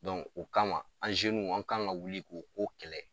o kama an w an kan ka wuli k'o ko kɛlɛ